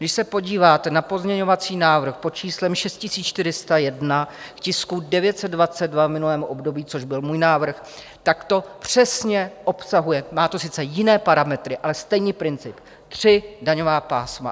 Když se podíváte na pozměňovací návrh pod číslem 6401 k tisku 922 v minulém období, což byl můj návrh, tak to přesně obsahuje, má to sice jiné parametry, ale stejný princip - tři daňová pásma.